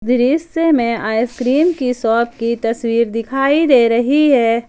दृश्य में आइसक्रीम की शॉप की तस्वीर दिखाई दे रही है।